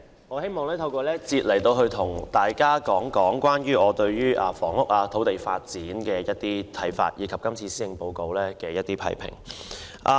代理主席，在這個辯論環節，我想談談我對房屋和土地發展的看法，以及對今年施政報告作出批評。